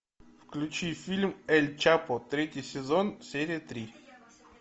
включи фильм эль чапо третий сезон серия три